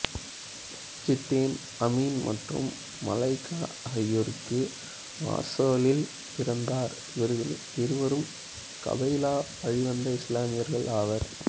Zidane Amin மற்றும் Malika ஆகியோருக்கு மார்ஸேலில் பிறந்தார் இவர்கள் இருவரும் கபைலா வழிவந்த இஸ்லாமியர்கள் ஆவர்